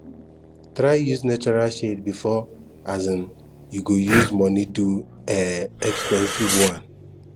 try use natural shade before um you go use money do um expensive one